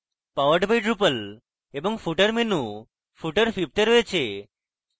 powered by drupal এবং footer menu footer fifth এ রয়েছে